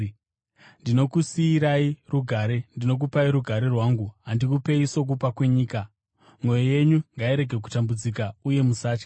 Ndinokusiyirai rugare; ndinokupai rugare rwangu. Handikupei sokupa kwenyika. Mwoyo yenyu ngairege kutambudzika uye musatya.